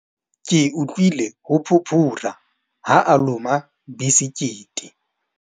Ke utlwile ho phuphura ha a loma besekete.